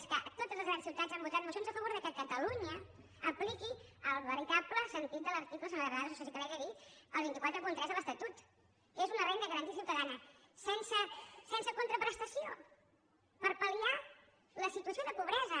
és que totes les grans ciutats han votat mocions a favor que catalunya apliqui el veritable sentit de l’article senyora granados això sí que li ho haig de dir el dos cents i quaranta tres de l’estatut que és una renda garantida ciutadana sense contraprestació per palla situació de pobresa